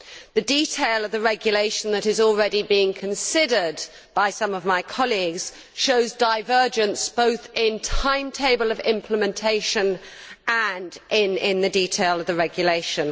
The detail of the regulation that is already being considered by some of my colleagues shows divergence both in the timetable of implementation and in the detail of the regulation.